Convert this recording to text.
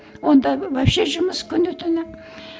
онда вообще жұмыс күні түні